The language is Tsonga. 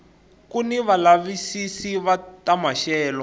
kuni valavisisi va ta maxelo